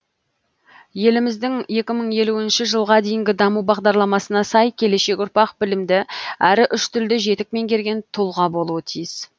еліміздің екі мың елуінші жылға дейінгі даму бағдарламасына сай келешек ұрпақ білімді әрі үш тілді жетік меңгерген тұлға болуы тиіс